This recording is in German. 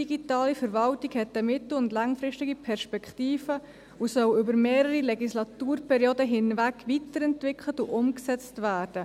Digitale Verwaltung hat eine mittel- und langfristige Perspektive und soll über mehrere Legislaturperioden hinweg weiterentwickelt und umgesetzt werden.